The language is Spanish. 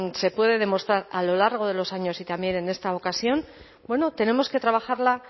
se puede demostrar a lo largo de los años y también en esta ocasión bueno tenemos que trabajarla